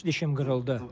Üç dişəm qırıldı.